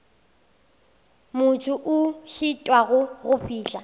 motho a šitwago go fihla